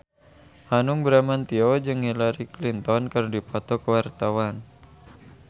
Hanung Bramantyo jeung Hillary Clinton keur dipoto ku wartawan